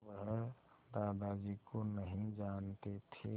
वह दादाजी को नहीं जानते थे